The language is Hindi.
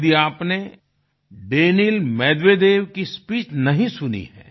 यदि आपने दानील मेदवेदेव की स्पीच नहीं सुनी है